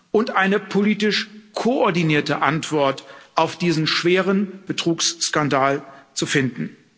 und eine politisch koordinierte Antwort auf diesen schweren Betrugsskandal zu finden.